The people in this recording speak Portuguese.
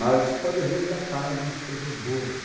Mas você pode resgatar algumas coisas boas.